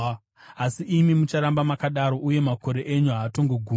Asi imi mucharamba makadaro, uye makore enyu haatongogumi.